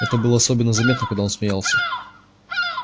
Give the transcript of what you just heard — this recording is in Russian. это было особенно заметно когда он смеялся